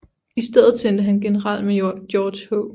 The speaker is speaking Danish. I stedet sendte han generalmajor George H